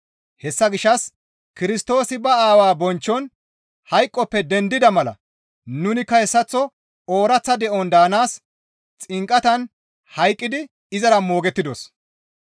Hessa gishshas Kirstoosi ba Aawaa bonchchon hayqoppe dendida mala nunikka hessaththo ooraththa de7on daanaas xinqatan hayqqidi izara moogettidos.